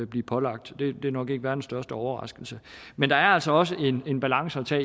bliver pålagt det er nok ikke verdens største overraskelse men der er altså også en balance